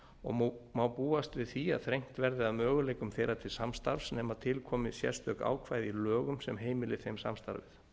til skoðunar og má búast við því að þrengt verði að möguleikum þeirra til samstarfs nema til komi sérstök ákvæði í lögum sem heimili þeim samstarfið